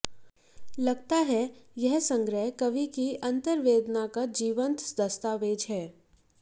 लगता है यह संग्रह कवि की अंतर्वेदना का जीवंत दस्तावेज है